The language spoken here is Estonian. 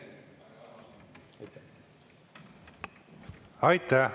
Aitäh!